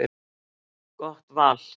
Gott val.